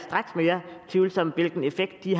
tvivlsomt hvilken effekt de